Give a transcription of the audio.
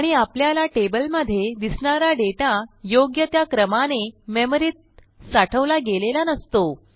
आणि आपल्याला टेबलमधे दिसणारा डेटा योग्य त्या क्रमाने मेमरीत साठवला गेलेला नसतो